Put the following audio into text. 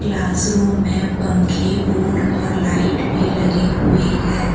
Classroom में पंखे board और लाइट भी लगे हुए हैं।